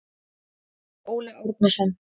Þetta var Óli Árnason.